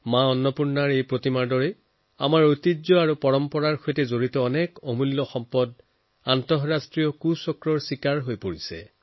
মাতা অন্নপূৰ্ণাৰ প্ৰতিমাৰ দৰেই আমাৰ ঐতিহ্যপূৰ্ণ বহু অমূল্য ৰত্ন আন্তঃৰাষ্ট্ৰীয় চক্ৰৰ চিকাৰ হৈ আহিছে